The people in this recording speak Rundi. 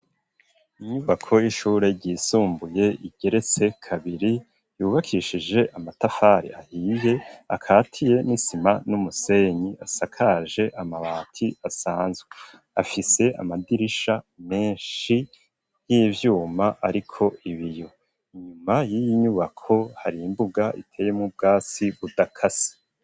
Inyubako y'ishure ryisumbuye igeretse kabiri, yubakishije amatafari ahiye akatiye n'isima n'umusenyi, asakaje amabati asanzwe; afise amadirisha menshi y'ivyuma ariko ibiyo, inyuma y'iyi nyubako hari imbuga iteyemwo ubwatsi budakase.